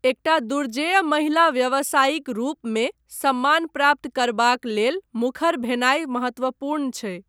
एकटा दुर्जेय महिला व्यवसायीक रूपमे सम्मान प्राप्त करबाक लेल मुखर भेनाय महत्वपूर्ण छै।